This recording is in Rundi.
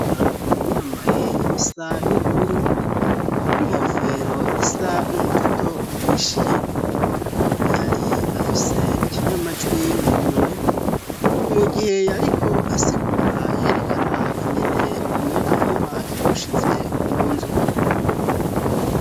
Garaeli yambaye ibisa n'ubururu n'inkofero isa n'umutoto uhishiye yari afise ikinyamajwi mu minwe ni mu gihe yariko asigura yerekana ingene y'umuyaga nkuba yawushize mu nzu.